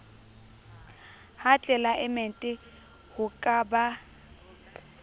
ha tlelaemete ho ka ba